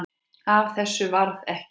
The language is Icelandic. Af þessu varð ekki.